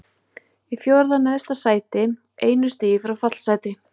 Í fjórða neðsta sæti, einu stigi frá fallsæti.